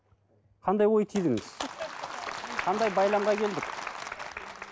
қандай ой түйдіңіз қандай байламға келдік